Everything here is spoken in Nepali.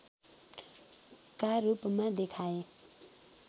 का रूपमा देखाए